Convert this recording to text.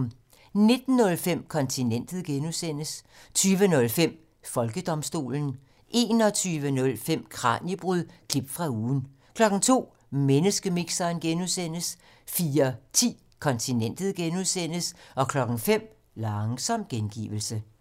19:05: Kontinentet (G) 20:05: Folkedomstolen 21:05: Kraniebrud – klip fra ugen 02:00: Menneskemixeren (G) 04:10: Kontinentet (G) 05:00: Langsom gengivelse